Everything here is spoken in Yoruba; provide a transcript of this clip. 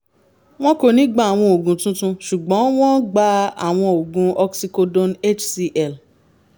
wọn kò ní gba àwọn oògùn tuntun ṣùgbọ́n wọ́n ń gba àwọn oògùn oxycodone hcl